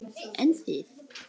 Jóhanna Margrét: En þið?